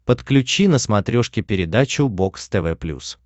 подключи на смотрешке передачу бокс тв плюс